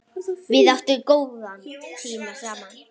Við áttum góða tíma saman.